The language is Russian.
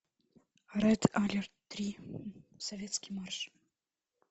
ред алерт три советский марш